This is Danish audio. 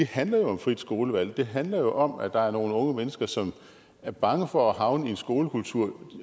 handler om frit skolevalg det handler jo om at der er nogle unge mennesker som er bange for at havne i en skolekultur